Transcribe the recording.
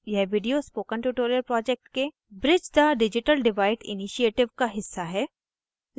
यह video spoken tutorial project के bridge the digital divide initiative का हिस्सा है